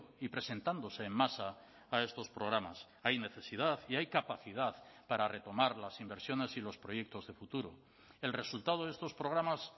y presentándose en masa a estos programas hay necesidad y hay capacidad para retomar las inversiones y los proyectos de futuro el resultado de estos programas